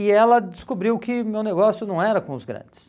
E ela descobriu que meu negócio não era com os grandes.